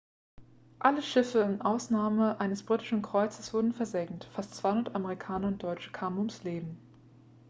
alle schiffe mit ausnahme eines britischen kreuzers wurden versenkt fast 200 amerikaner und deutsche kamen ums leben